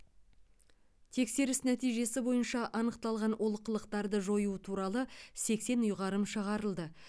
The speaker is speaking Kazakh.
тексеріс нәтижесі бойынша анықталған олқылықтарды жою туралы сексен ұйғарым шығарылды